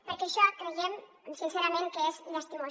perquè això creiem sincerament que és llastimós